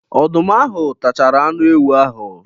Ọdụm ahụ tachara anụ ewu ahụ.